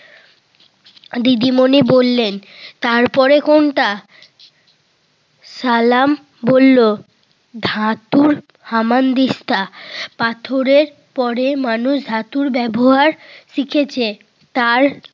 দিদিমণি বললেন, তারপরে কোনটা? সালাম বলল, ধাতুর হামানদিস্তা পাথরের পরে মানুষ ধাতুর ব্যবহার শিখেছে। তার